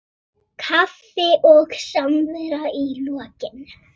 Kaffi og samvera í lokin.